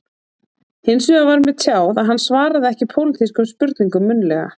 Hins vegar var mér tjáð að hann svaraði ekki pólitískum spurningum munnlega